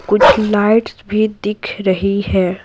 कुछ लाइट्स भी दिख रही है।